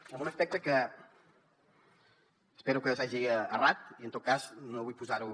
amb un aspecte que espero que s’hagi errat i en tot cas no vull posar ho